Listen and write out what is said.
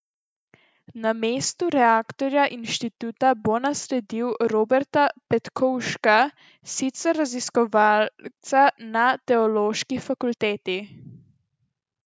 Na mestu rektorja inštituta bo nasledil Roberta Petkovška, sicer raziskovalca na teološki fakulteti.